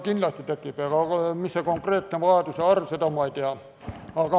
Kindlasti tekib, aga mis see konkreetne arv on, seda ma ei tea.